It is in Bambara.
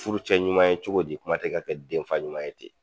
Furu cɛ ɲuman ye cogo di ? kuma tɛ ka kɛ den fa ɲuman ten.